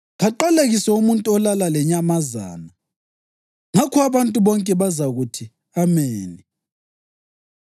‘Kaqalekiswe umuntu olala lenyamazana.’ Ngakho abantu bonke bazakuthi, ‘Ameni!’